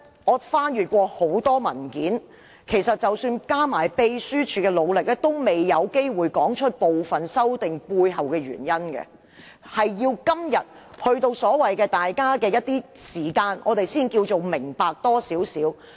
我翻閱了很多文件，即使加上秘書處的努力，在文件中也未必能夠說明部分修訂建議背後的原因，而是要等到今天大家一起花時間討論，我們才可多明白一點。